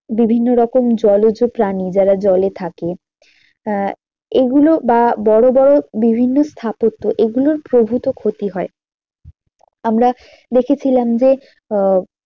বিভিন্ন রকম জলজ প্রাণী যারা জলে থাকে আহ এগুলো বা বড়ো বড়ো বিভিন্ন স্থাপত্য এইগুলোর প্রভূত ক্ষতি হয় আমরা দেখেছিলাম যে আহ